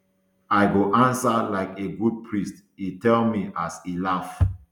i go ansa like a good priest e tell me as e laugh